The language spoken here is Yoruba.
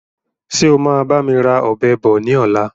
Ṣé o máa bami ra Ọ̀bẹ bọ̀ ni ọ̀la?